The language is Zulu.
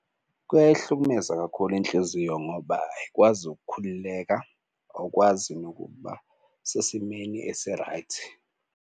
Kuyayihlukumeza kakhulu inhliziyo ngoba ayikwazi ukukhululeka uwukwazi nokuba sesimeni esi-right.